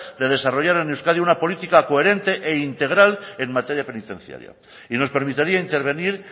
de desarrollar en euskadi una política coherente e integral en materia penitenciaria y nos permitiría intervenir